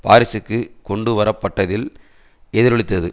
பாரிசுக்குச் கொண்டு வரப்பட்டதில் எதிரொலித்தது